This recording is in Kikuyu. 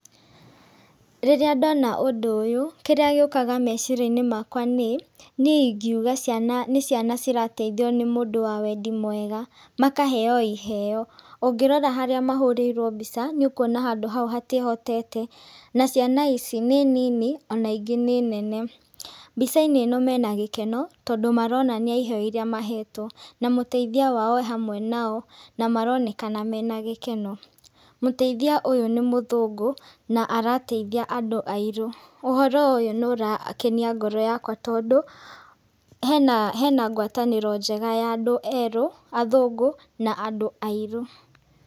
Rĩrĩa ndona ũndũ ũyũ, kĩrĩa gĩũkaga meciria-inĩ makwa nĩ, niĩ ingiuga ciana nĩ ciana cirateithio nĩ mũndũ wa wendi mwega. Makaheo iheeo. Ũngĩrora harĩa mahũrĩirwo mbica, nĩ ũkuona handũ hau hatiĩhotete. Na ciana ici, nĩ nini, ona ingĩ nĩ nene. Mbica-inĩ ĩno mena gĩkeno, tondũ maronania iheeo irĩa mahetwo. Na mũteithia wao ee hamwe nao, na maronekana mena gĩkeno. Mũteithia ũyũ nĩ mũthũngũ, na arateithia andũ airũ. Ũhoro ũyũ nĩ ũrakenia ngoro yakwa tondũ, hena hena ngwatanĩro njega ya andũ erũ, athũngũ, na andũ airũ.